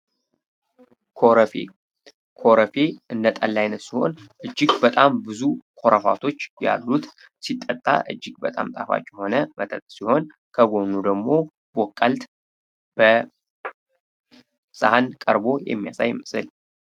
ኮረፌ ኮረፌ እንደ ጠላ አይነት ሲሆን እጅግ በጣም ብዙ ኮረፋ ያሉት ሲጠጣ እጅግ በጣም ጣፋጭ የሆነ መጠጥ ሲሆን ከጎኑ ደግሞ በቆልት በሰሃን ቀርቦ የሚያሳይ ምስል ነው።